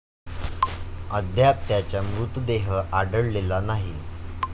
अद्याप त्याचा मृतदेह आढळलेला नाही.